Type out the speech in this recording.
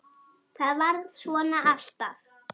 ÞAÐ VARÐ SVONA ALLTAF